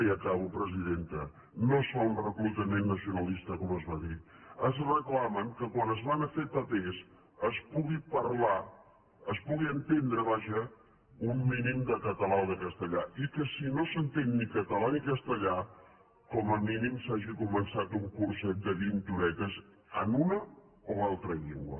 i acabo presi·denta no es fa un reclutament nacionalista com es va dir es reclama que quan es van a fer papers es pugui parlar es pugui entendre vaja un mínim de català o de castellà i que si no s’entén ni català ni castellà com a mínim s’hagi començat un curset de vint horetes en una o altra llengua